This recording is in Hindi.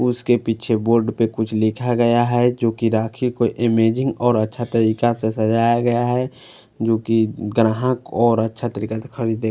उसके पीछे बोर्ड पे कुछ लिखा गया है जो की राखी को अमेजीग और अच्छा तरीका से सजाया गया है जो कि ग्राहक और अच्छा तरीका खरीदे।